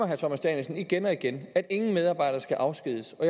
herre thomas danielsen igen og igen at ingen medarbejder skal afskediges og